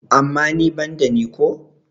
amma ni ban da ni ko?